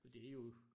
Og det er jo